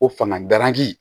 Ko fanga garangi